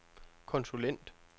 konsulent